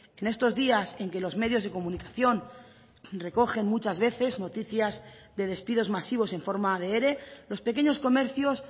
en estos días en que los medios de comunicación recogen muchas veces noticias de despidos masivos en forma de ere los pequeños comercios